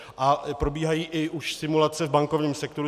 A probíhají i už simulace v bankovním sektoru.